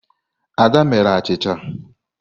Ada mere achịcha.